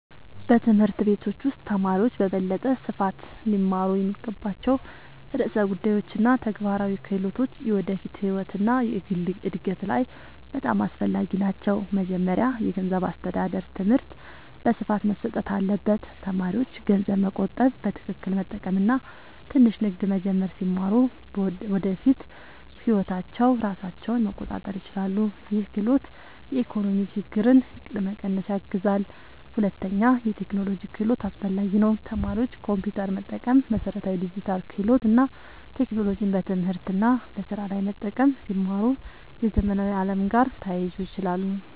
በትምህርት ቤቶች ውስጥ ተማሪዎች በበለጠ ስፋት ሊማሩ የሚገባቸው ርዕሰ ጉዳዮች እና ተግባራዊ ክህሎቶች የወደፊት ህይወት እና የግል እድገት ላይ በጣም አስፈላጊ ናቸው። መጀመሪያ የገንዘብ አስተዳደር ትምህርት በስፋት መሰጠት አለበት። ተማሪዎች ገንዘብ መቆጠብ፣ በትክክል መጠቀም እና ትንሽ ንግድ መጀመር ሲማሩ በወደፊት ህይወታቸው ራሳቸውን መቆጣጠር ይችላሉ። ይህ ክህሎት የኢኮኖሚ ችግኝትን ለመቀነስ ያግዛል። ሁለተኛ የቴክኖሎጂ ክህሎት አስፈላጊ ነው። ተማሪዎች ኮምፒውተር መጠቀም፣ መሠረታዊ ዲጂታል ክህሎት እና ቴክኖሎጂን በትምህርት እና በስራ ላይ መጠቀም ሲማሩ የዘመናዊ ዓለም ጋር ተያይዞ ይችላሉ።